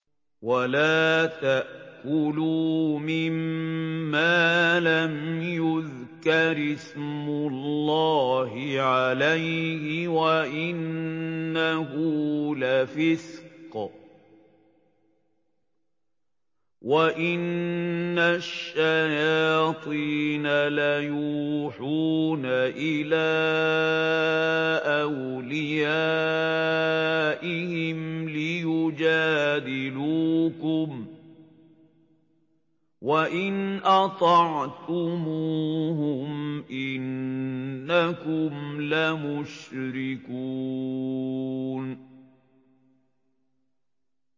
وَلَا تَأْكُلُوا مِمَّا لَمْ يُذْكَرِ اسْمُ اللَّهِ عَلَيْهِ وَإِنَّهُ لَفِسْقٌ ۗ وَإِنَّ الشَّيَاطِينَ لَيُوحُونَ إِلَىٰ أَوْلِيَائِهِمْ لِيُجَادِلُوكُمْ ۖ وَإِنْ أَطَعْتُمُوهُمْ إِنَّكُمْ لَمُشْرِكُونَ